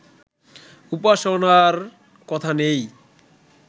উপাসনার কথা নেই